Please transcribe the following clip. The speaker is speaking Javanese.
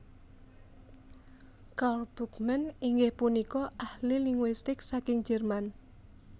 Karl Brugmann inggih punika ahli linguistik saking Jerman